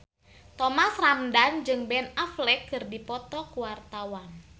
Thomas Ramdhan jeung Ben Affleck keur dipoto ku wartawan